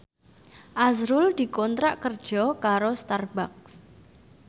azrul dikontrak kerja karo Starbucks